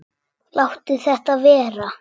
Láttu þetta vera!